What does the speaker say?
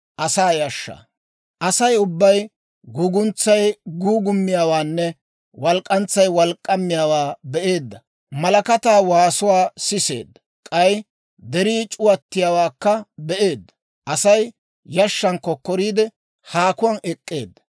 Asay ubbay guuguntsay guugummiyaawaanne walk'k'antsay wolk'k'aamiyaawaa be'eedda; malakataa waasuwaa siseedda; k'ay derii c'uwattiyaawaakka be'eedda; Asay yashshan kokkoriide, haakuwaan ek'k'eedda.